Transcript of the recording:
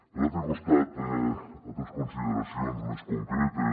per altre costat altres consideracions més concretes